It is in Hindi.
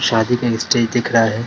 शादी का एक स्टेज दिख रहा है।